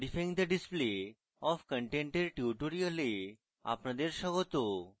modifying the display of content এর tutorial আপনাদের স্বাগত